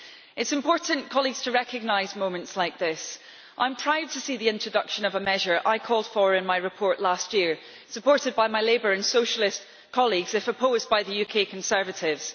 It is important to recognise moments like this. I am proud to see the introduction of a measure I called for in my report last year, supported by my Labour and Socialist colleagues, though opposed by the UK conservatives.